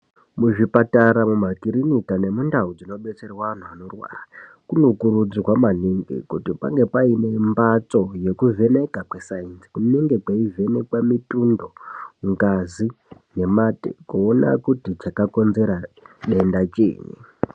Muzvipatara mumakirinika nemundau dzinodetserwa anhu anorwara kunokurudzirwa maningi kuti pange paine mbatso yekuvheneka kwesainzi. Kunenge kweivhenekwa mitundo, ngazi nemate kuona kuti chakakonzera denda chiinyi.